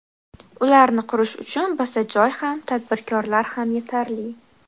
Ularni qurish uchun bizda joy ham, tadbirkorlar ham yetarli.